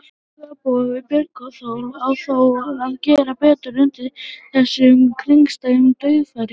Framherji á borð við Björgólf á þó að gera betur undir þessum kringumstæðum, dauðafæri!